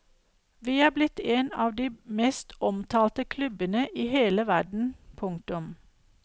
Vi er blitt en av de mest omtalte klubbene i hele verden. punktum